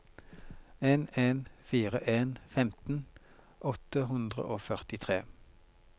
en en fire en femten åtte hundre og førtitre